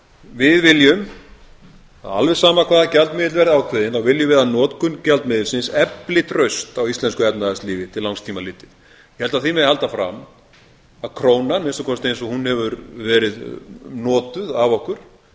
við viljum alveg sama hvaða gjaldmiðill verði ákveðinn þá viljum við að notkun gjaldmiðilsins efli traust á íslensku efnahagslífi til langs tíma litið ég held að því megi halda fram að krónan að minnsta kosti eins og hún hefur verið notuð af okkur hafi